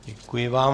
Děkuji vám.